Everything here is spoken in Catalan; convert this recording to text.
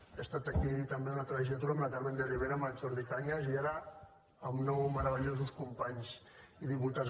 he estat aquí també una altra legislatura amb la carmen de rivera i amb el jordi cañas i ara amb nou meravellosos companys i diputats